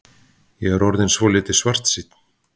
Ég er orðinn svolítið svartsýnn.